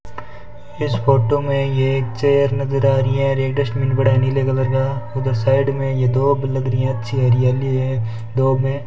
इस फोटो में ये एक चेयर नज़र आ रही है रेड डस्टबिन पड़ा है नीले कलर का उधर साइड में ये दोब लग रही हैं अच्छी हरियाली है दोब हैं।